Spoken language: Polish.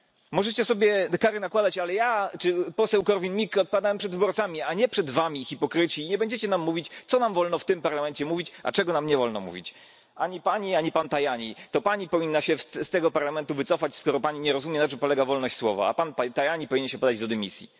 Możecie sobie te kary nakładać, ale ja czy poseł Korwin Mikke odpowiadamy przed wyborcami, a nie przed wami, hipokryci, i nie będziecie nam mówić, co nam wolno w tym Parlamencie mówić, a czego nam nie wolno mówić ani Pani, ani pan Tajani. To Pani powinna się z tego Parlamentu wycofać, skoro Pani nie rozumie, na czym polega wolność słowa, a Pan, Panie Tajani, powinien się podać do dymisji.